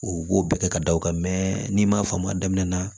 U b'o bɛɛ kɛ ka da o kan mɛ n'i m'a faamu a daminɛ na